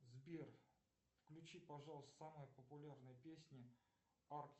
сбер включи пожалуйста самые популярные песни